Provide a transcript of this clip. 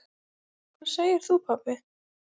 Hvað segir þú pabbi?